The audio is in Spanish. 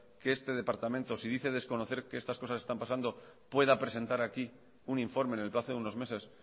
que este departamento si dice desconocer que estas cosas están pasando pueda presentar aquí un informe en el plazo de unos meses